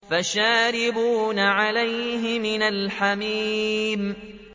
فَشَارِبُونَ عَلَيْهِ مِنَ الْحَمِيمِ